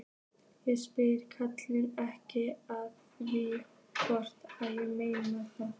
Ég spyr karlinn ekkert að því hvort ég megi það.